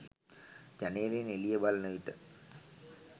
ජනේලයෙන් එළිය බලන විට